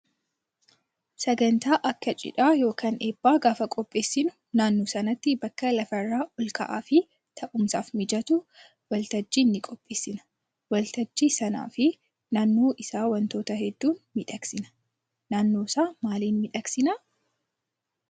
Sagantaa akak cidhaa yookaan eebbaa gaafa qopheessinu naannoo sanatti bakka lafarraa ol ka'aa fi taa'umsaaf mijatu waltajjii ni qopheessina. Waltajjii sanaa fi naannoo isaa wantoota hedduun miidhagsina. Naannoo isaa maaliin miidhagsinaa?